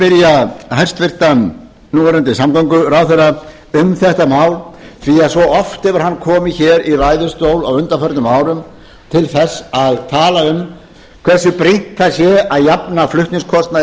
að spyrja hæstvirtan núverandi samgönguráðherra um þetta mál því að svo oft hefur hann komið hér í ræðustól á undanförnum árum til að tala um hversu brýnt það sé að jafna flutningskostnað í